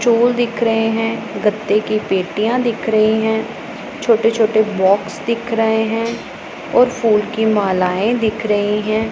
चोल दिख रहे हैं गत्ते की पेटियां दिख रही हैं छोटे छोटे बॉक्स दिख रहे हैं और फूल की मालाएं दिख रही हैं।